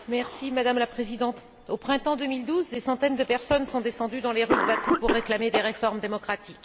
Madame la Présidente, au printemps 2012, des centaines de personnes sont descendues dans les rues de Bakou pour réclamer des réformes démocratiques.